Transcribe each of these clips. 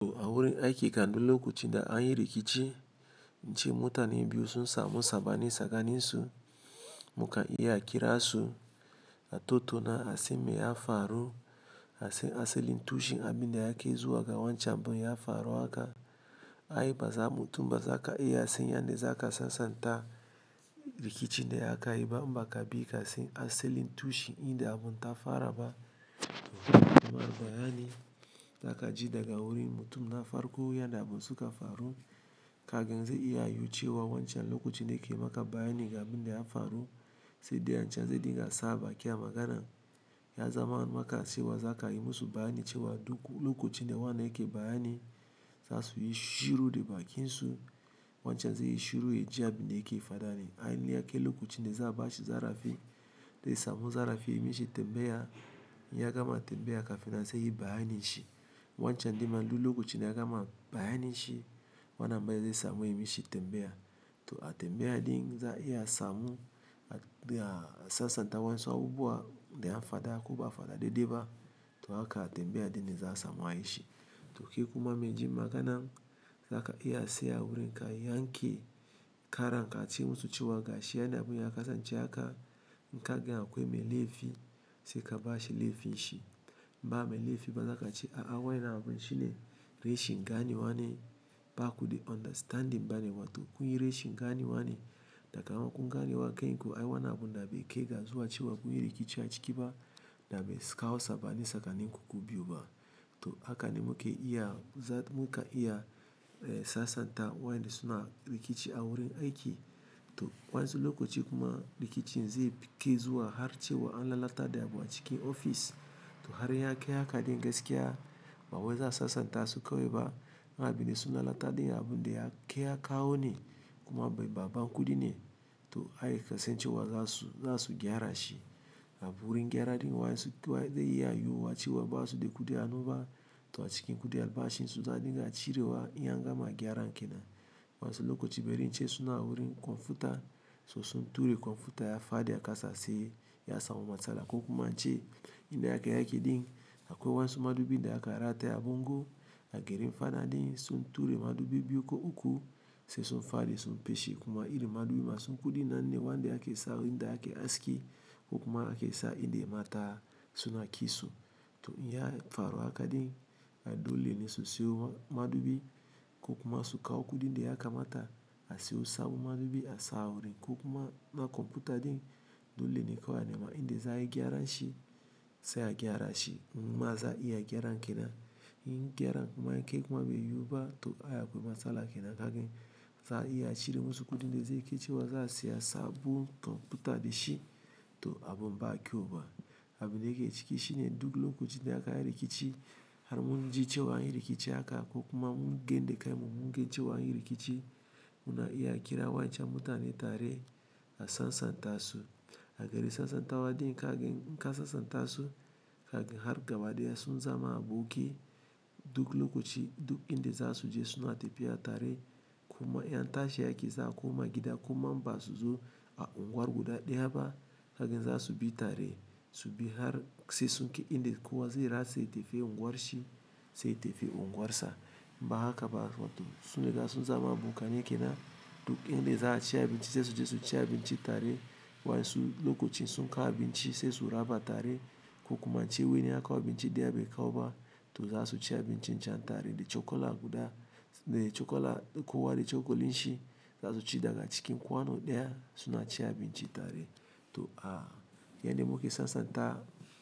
To a wurin aiki kan lokacin da anyi rikici, in mutane biyu sun samu sabani tsakanin su, mukan iya kira su a totona asan me ya faru, asan aselin tushi abin da yake zuwa ga wancan abun ya faruwa haka. Ai bazamu mutum baza kasan yadda zaka sasanta rikici da akayi ba idan bakasan asalin tushen inda abun ta fara ba to kuma bayani za ka ji daga wurin mutum na farko yadda abun suka faru. Kagan zai iya yucewa wancan lokacin da yake maka bayani ga abin da ya faru, sai dayan canza dinge saɓa, ki a maganan ya zama maka cewa za ka yi musu bayani cewa duk lokacin da wane yake bayani, za su yi shiru da bakin su. Wancan zai yi shiru, ya ji abin da yake faɗa ne. Ainihin yake lokacin da za bashi zarafi, dai samu zarafi, ya mishe tambaya, ya gama tambaya kafin nan seyi bayanin shi. Wancan dinman duk lokacin da ya gama bayanin shi, wannan ma zai samu ya mishe tambaya. To a tambaya din za a iya samu a sasanta wasu abubuwa da yafada koba dedeba to haka a tambaya din za a samu a yi shi. To kai kuma mai jim magana, za ka iya saya wurin kai, yanke kara, ka ci musu cewa gashi yadda abun ya kasance haka. Kagan akwai mai laifi sai ka bashi lefin shi ba mai laifi ba, za ka ce a a waye na abun shine, reshingane wane ba kuɗe understanding bane. Wato kun yi reshingane wane, da kaman kun gane wa kai ko ai wannan abu na bai kai ga zuwa cewa kun yi rikici a ciki ba, da bai saka kawu sabani tsakanin ku biyu ba. To haka ne muka iya, muka iya sasanta wayanda suna rikici a wurin aiki. To wa insu lokaci kuma rikicin zai fi ke zuwa har cewa an lalata da abu a cikin ofis. To har ya kai haka din gaskiya, ba waye za a sasanta su kawai ba. Abinda sun lalata din abunda yakai ya kawo ne ko me babban kudi ne to ai ka san cewa za su gyara shi. Wurin gyara din ma zai iya yihuwa cewa basuda kudi a hannu to a cikin albashinsu zaariga cirewa in an gama gyaran kenan wasu lokaci bari ce suna wurin kwamfuta, so sun ture kwamfuta ya faɗi a kasase. Ya samu matsala ko kuma an ce inda yake yake din, akwai wansu madubi da aka rataya a bungu. A gurin fada din sun ture madubi biyu ko uku, sai sun faɗi sun feshe kuma iri madubi masu kuɗi nan ne wanda yake sa wurin da ake aski ko kuma ake sa inda mata suna kitso. To iya faruwa haka din a dole ne su siyo madubi ko kuma su kawo kuɗi da yaka mata a siyo sabon madubi a sa wurin ko kuma na kwamfuta din dole ne kawai nema inda za a yi gyara shi, sai a gyara shi. In ma za a iya gyara kenan. In gyara kuma yakai kuma bai yiwuwa to a yi akwai matsala kenan. Kagin za a iya a cire musu kuɗin da zai yi cewa za a siya sabon kwamfuta da shi to abun ba a ƙyauba. Abin da yake ciki shine duk lokacin da aka yi rikici, har mun ji cewa anyi rikici haka ko kuma mun gan da kanmu mun ga cewa anyi rikici, muna iya kira wancan mutane tare a sasanta su. A gari sasanta wa din kagin, inka sasanta su, kaga har gaba dai ya sun zama aboki. Duk lokaci duk inda za su je suna tafiya tare. Kuma in an tashe aike za a koma gida kuma in ba su zo a unguwar guda ɗaya ba, kagin za su bi tare su bi har sai sunki inda kuwa zai ratse tafiya unguwar shi, sai ya tafi unguwar sa. Ba haka ba, to sunri ga sun zama aboka nai kenan. Duk inda za a ci abinci sai su je su ci abinci tare. Waye su lokacin sun kawo abinci sai su raba tare ko kuma in wani ya kawo abinci daya bai kawo ba to zasu ci abincin can tare da cokula guda kowa da cokalin shi zasu ci daga cikin kwano daya suna ci abinci tare to a, yanda muke sasanta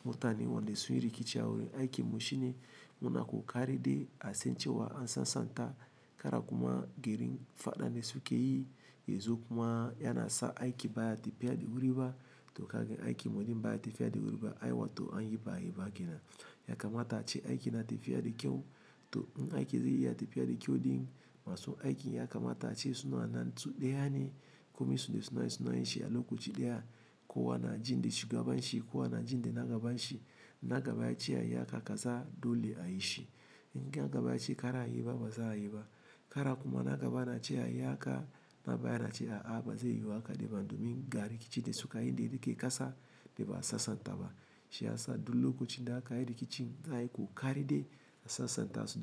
mutane wanda sun yi rikici a wurin aiki mu shine muna ƙoƙari de a san cewa an sasanta. Kara kuma girin fada dane su ke yi ya zo kuma yana sa aiki baya tafiya da wuri ba. To kagan aiki muɗin baya tafiya da wuri ba. Ai watan anyi baai ba kenan. Ya kamata ace aiki na tafiya da kyau. To in aiki zai iya tafiya da kyau din, masu aikin ya kamata ace suna nan su daya ne. Komen su da suna yin shi a lokaci daya. Kowa na jin da shi gaban shi, kowa na jin da na gaban shi. Na gaba ya ce ayi haka ka sa dole a yi shi. In nagaba yace kar ayi baza'ayi ba kara kuma na gaba na ce a yi haka, na baya na ce a a ba zai yiwu haka ba domin ga rikici da suka yi da rike ƙasa dai ba a sasanta ba. Shi ya sa duk lokacin da aka yi rikici za ayi ƙoƙari de a sasanta su.